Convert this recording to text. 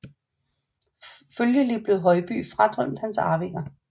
Følgelig blev Højby fradømt hans arvinger